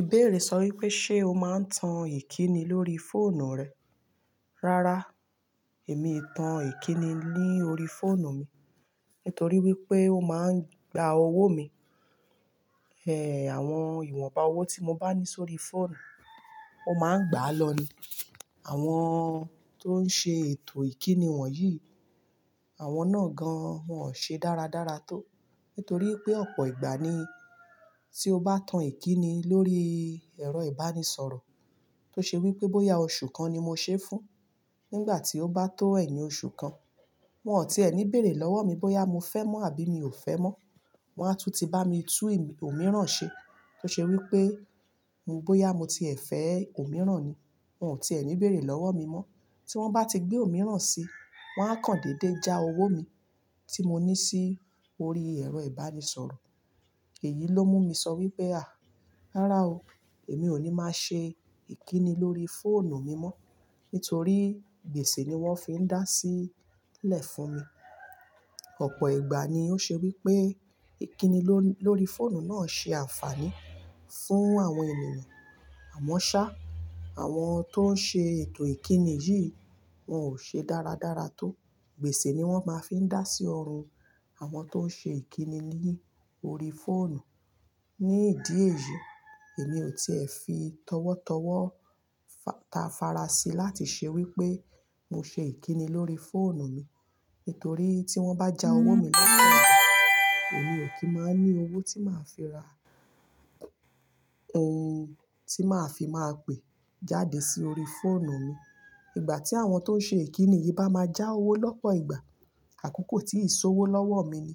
Ìbéèrè sọ wípé ṣe o máa ń tan ìkíni lórí fóònù rẹ. Rárá, èmi ì tan ìkíni ní orí fóònù mi nítorí wípé ó máa ń gba owó mi. Eh, àwọn ìwọnba owó tí mo bá ní sórí fóònù, ó máa ń gbà á lọ ni. Àwọn tó ń ṣe ètò ìkíni wọ̀nyí, àwọn náà gan an, wón ò ṣe dáradára tó nítorí pé ọ̀pọ̀ ìgbà ni tí o bá tan ìkíni lórí ẹ̀rọ ìbánisọ̀rọ̀ tó ṣe wípé bóyá oṣù kan ni mo ṣe fún, nígbà tí ó bá tó ẹ́yin oṣù kan, wón ò tí ẹ́ ní bèrè lọ́wọ́ mi bóyá mo fẹ́ mọ́ àbí mi ò fẹ́ mọ́. Wọn á tún ti bá mi tú òmíràn ṣe tó ṣe wípé bóyá mo ti ẹ̀ fẹ́ òmíràn ni. Wọn ò tí ẹ́ ní bèrè lọ́wọ́ mi mọ́. Tí wọ́n bá ti gbé òmíràn sí, wọ́n á kan dédé já owó mi tí mo ní sí orí ẹ̀rọ ìbánisọ̀rọ̀. Èyí ló mú mi sọ wípé à, rárá o, èmi ò ní máa ṣe ìkíni lórí fóònù mi mọ́ nítorí gbèsè ni wọ́n fi ń dá sílẹ̀ fún mi. Ọ̀pọ̀ ìgbà ni ó ṣe wípé ìkíni ló-lórí fóònù náà ṣe àǹfààní fún àwọn ènìyàn. Àmọ́ ṣá, àwọn tó ń ṣe ètò ìkíni yìí wọn ò ṣe dáradára tó. Gbèsè ni wọ́n máa fi ń dá sí ọrùn àwọn tó ń ṣe ìkíni ní orí fóònù. Ní ìdí èyí, èmi ò tíẹ̀ fi tọwọ́tọwọ́ ta fara sí láti ṣe wípé mo ṣe ìkíni lórí fóònù mi, nítorí tí wọ́n bá já owó mi lọ́pọ̀, èmi ò kí máa ní owó tí màá fi ra ohun tí màá fi máa pè jáde sí orí fóònù mi. Igbà tí àwọn tó ń ṣe ìkíni yìí bá máa já owó lọ́pọ̀ ìgbà, àkókò tí ìṣòwò lọ́wọ́ mi ni.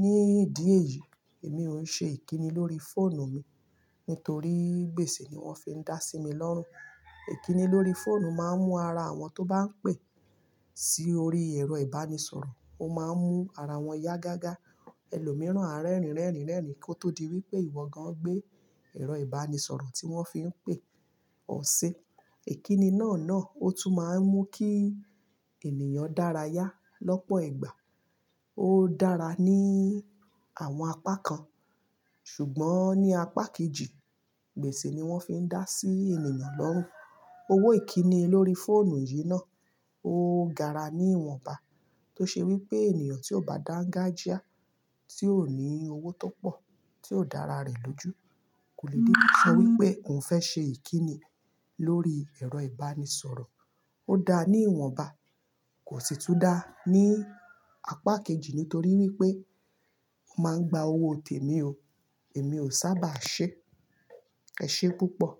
Ní ìdí èyí, èmi ò ń ṣe ìkíni lórí fóònù mi, nítorí gbèsè ni wọ́n fi ń dá sí mi lọ́rùn. Ìkíni lórí fóònù máa ń mú ara àwọn tó bá ń pè sí orí ẹ̀rọ ìbánisọ̀rọ̀, ó máa ń mú ara wọn yá gágá. Ẹlòmíràn a rẹ́ẹ̀rín, rẹ́ẹ̀rín, rẹ́ẹ̀rín kí ó tó di wípé ìwọ gan an gbé ẹ̀rọ ìbánisọ̀rọ̀ tí wọ́n fi ń pè ọ ṣẹ. Ìkíni náà náà ó tún máa ń mú kí ènìyàn dára yá lọ́pọ̀ ìgbà. Ó dára ní àwọn apá kan ṣùgbọ́n ní apá kejì, gbèsè ni wọ́n fi ń dá sí ènìyàn lọ́rùn. Owó ìkíni lórí fóònù yìí náà ó gara ní ìwọ̀nba tó ṣe wípé ènìyàn tí ó bá dáńgájíá, tí ò ní owó tó pọ̀, tí ó dára rẹ̀ lójú kò lè dé tí sọ wípé òun fẹ́ ṣe ìkíni lórí ẹ̀rọ ìbánisọ̀rọ̀. Ó da ní ìwọ̀nba kò sì tún dá ní apá kejì nítorí wípé ó máa ń gba owó tèmi o. Èmi ò sábà ṣe. Ẹ̀ṣé púpọ̀.